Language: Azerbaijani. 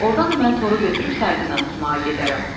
Ordan da mən toru götürüb sardina tutmağa gedərəm.